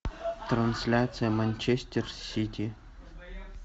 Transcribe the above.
трансляция манчестер сити